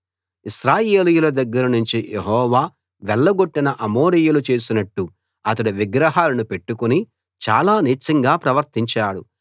ఇశ్రాయేలీయుల దగ్గరనుంచి యెహోవా వెళ్లగొట్టిన అమోరీయులు చేసినట్టు అతడు విగ్రహాలను పెట్టుకుని చాలా నీచంగా ప్రవర్తించాడు